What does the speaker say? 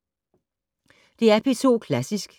DR P2 Klassisk